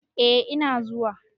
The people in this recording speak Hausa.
eh Ina zuwa